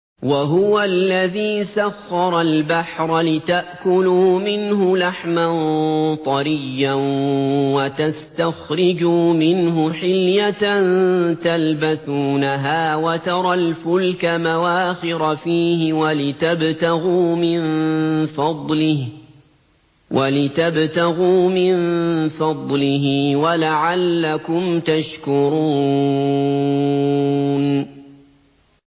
وَهُوَ الَّذِي سَخَّرَ الْبَحْرَ لِتَأْكُلُوا مِنْهُ لَحْمًا طَرِيًّا وَتَسْتَخْرِجُوا مِنْهُ حِلْيَةً تَلْبَسُونَهَا وَتَرَى الْفُلْكَ مَوَاخِرَ فِيهِ وَلِتَبْتَغُوا مِن فَضْلِهِ وَلَعَلَّكُمْ تَشْكُرُونَ